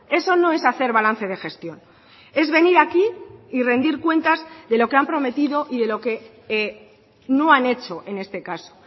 eso no es hacer balance de gestión es venir aquí y rendir cuentas de lo que han prometido y de lo que no han hecho en este caso